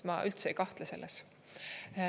Ma üldse ei kahtle selles.